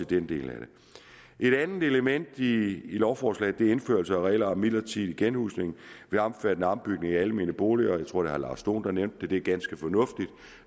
den del af det et andet element i lovforslaget er indførelse af regler om midlertidig genhusning ved omfattende ombygning af almene boliger jeg tror at herre lars dohn der nævnte det det er ganske fornuftigt